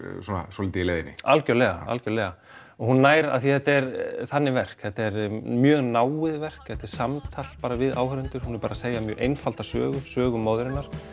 svolítið í leiðinni algjörlega algjörlega og hún nær af því að þetta er þannig verk þetta er mjög náið verk þetta er samtal við áhorfendur hún er bara að segja mjög einfalda sögu sögu móðurinnar